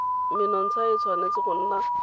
menontsha e tshwanetse go nna